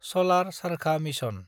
सलार चारखा मिसन